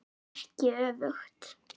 Ekki öfugt.